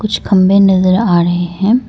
कुछ खंबे नजर आ रहे हैं।